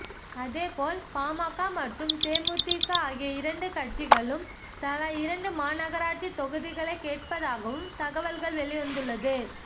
அதேபோல் பாமக மற்றும் தேமுதிக ஆகிய இரண்டு கட்சிகளும் தலா இரண்டு மாநகராட்சி தொகுதிகளை கேட்பதாகவும் தகவல்கள் வெளிவந்துள்ளது